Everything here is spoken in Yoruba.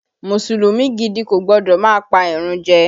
Mùsùlùmí gidi kò gbọ́dọ̀ má pa ìrun jẹ